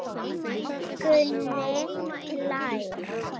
Gunni hlær.